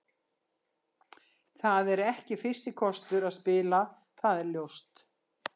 Það er ekki fyrsti kostur að spila, það er ljóst.